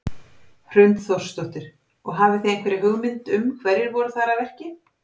Hrund Þórsdóttir: Og hafi þið einhverja hugmynd um hverjir voru þarna að verki?